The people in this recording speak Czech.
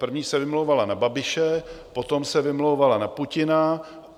První se vymlouvala na Babiše, potom se vymlouvala na Putina.